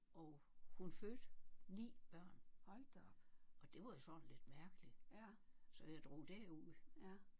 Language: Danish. Og hun fødte 9 børn og det var jo sådan lidt mærkeligt så jeg drog derud